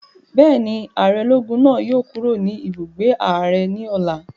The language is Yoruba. Bẹ́ẹ̀ni, ààrẹ ológun náà yóò kúrò ní ibùgbé ààrẹ ní ọ̀la